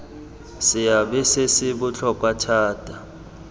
seabe se se botlhokwa thata